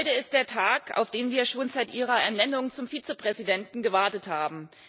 Heute ist der Tag, auf den wir schon seit Ihrer Ernennung zum Vizepräsidenten gewartet haben.